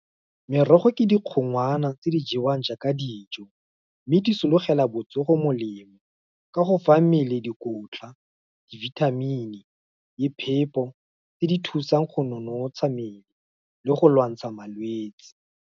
Merogo ke dikgongwana, tse di jewang jaaka dijo, mme di solofela botsogo molemo, ka go fa mmele dikotla, dibithamini, le phepo, tse di thusang go nonotsha mmele, le go lwantsha malwetsi.